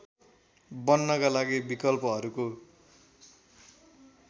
बन्नका लागि विकल्पहरूको